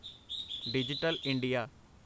digital India